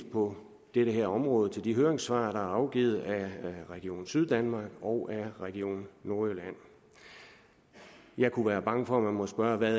på det her område henvise til de høringssvar der afgivet af region syddanmark og region nordjylland jeg kunne være bange for at man må spørge hvad